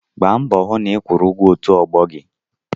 Gbaa mbọ hụ na ị kwụrụ ụgwọ òtù ọgbọ gị!